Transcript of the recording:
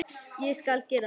Ég skal gera það.